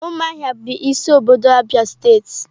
Umuahia bu isi obodo Abia state.